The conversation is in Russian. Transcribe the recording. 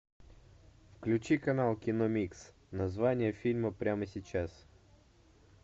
включи канал кино микс название фильма прямо сейчас